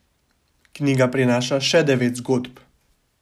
Knjiga prinaša še devet zgodb.